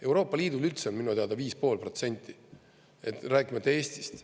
Euroopa Liidul üldse on minu teada 5,5%, rääkimata Eestist.